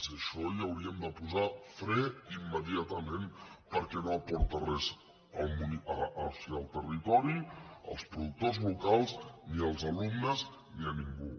i a això hi hauríem de posar fre immediatament perquè no aporta res al territori als productors locals ni als alumnes ni a ningú